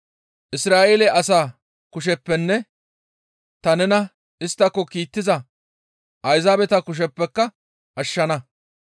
Isra7eele asaa kusheppenne ta nena isttako kiittiza Ayzaabeta kusheppeka ashshana.